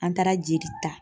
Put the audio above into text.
An taara jeli ta